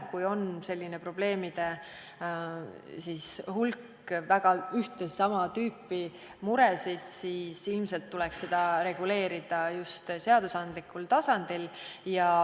Kui on selline probleemide hulk, on ühte ja sama tüüpi mured, siis ilmselt tuleks seda reguleerida just seadusandlikul tasandil.